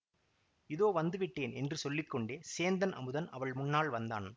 இதோ வந்துவிட்டேன் என்று சொல்லி கொண்டே சேந்தன் அமுதன் அவள் முன்னால் வந்தான்